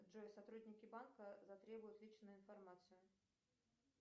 джой сотрудники банка затребуют личную информацию